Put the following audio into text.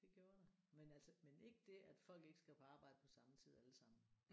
Det gjorde der men altså men ikke det at folk ikke skal på arbejde på samme tid alle sammen